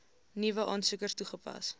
nuwe aansoekers toegepas